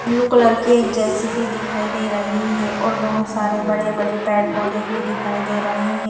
Blue colour की एक JCB दिखाई दे रही है और बहुत सारे बड़े-बड़े पैड-पोधे भी दिखाई दे रहे है।